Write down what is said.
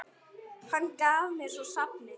Hann gaf mér svo safnið.